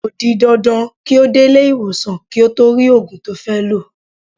Ko di dandan ki o de ile-iwosan ki o to ri ogun to fe lo.